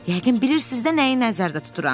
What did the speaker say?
Yəqin bilirsiz də nəyi nəzərdə tuturam.